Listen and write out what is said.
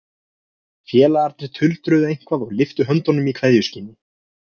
Félagarnir tuldruðu eitthvað og lyftu höndum í kveðjuskyni.